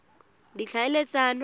ditlhaeletsano